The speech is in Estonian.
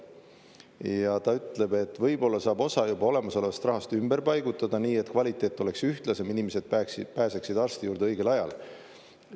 Ja ta ütleb, et võib-olla saab osa juba olemasolevast rahast ümber paigutada nii, et kvaliteet oleks ühtlasem, inimesed peaksid pääseksid arsti juurde õigel ajal.